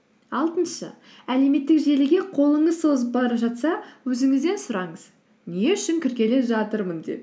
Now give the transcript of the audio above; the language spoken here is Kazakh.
алтыншы әлеуметтік желіге қолыңыз созып барып жатса өзіңізден сұраңыз не үшін кіргелі жатырмын деп